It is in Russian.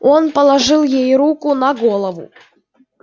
он положил ей руку на голову